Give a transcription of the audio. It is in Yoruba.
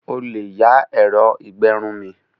O lè yá ẹ̀rọ ìgbẹrun mi.